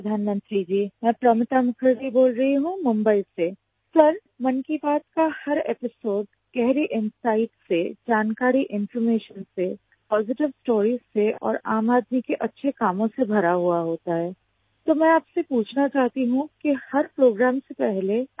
PHONE CALL 2 PROMITA